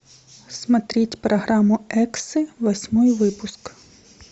смотреть программу эксы восьмой выпуск